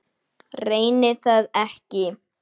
Reyni það ekki.